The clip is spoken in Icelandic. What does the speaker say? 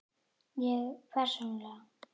Ég persónulega?